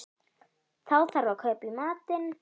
Þá þarf að kaupa í matinn